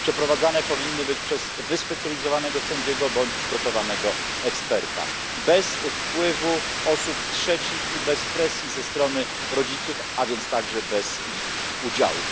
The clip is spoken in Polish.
Przeprowadzane powinny być przez wyspecjalizowanego sędziego bądź przygotowanego eksperta, bez wpływu osób trzecich i bez presji ze strony rodziców, a więc także bez ich udziału.